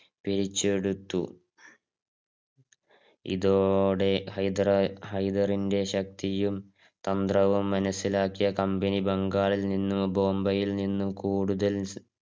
തിരിച്ചെടുത്തു. ഇതോടെ ഹൈദറ ഹൈദറിന്റെ ശക്തിയും തന്ത്രവും മനസിലാക്കി company ബംഗാളി നിന്നും ബോംബേയിൽ നിന്നും കൂടുതൽ